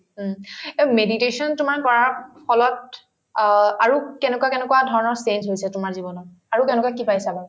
উম, অ meditation তোমাৰ কৰাৰ ফলত অ আৰু কেনেকুৱা কেনেকুৱা ধৰণৰ change হৈছে তোমাৰ জীৱনত আৰু তেনেকুৱা কি পাই আছানো ?